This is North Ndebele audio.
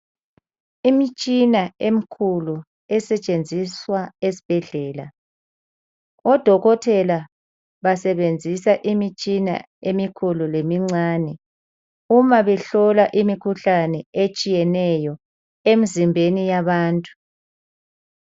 Imitshina emikhulu esetshenziswa esibhedlela. Odokotela basebenzisa imitshina emikhulu lemincane uma behlola imikhuhlane emizimbeni yabantu.